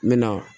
N bɛ na